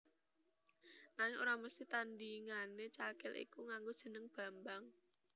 Nanging ora mesthi tandhingané Cakil iku nganggo jeneng Bambang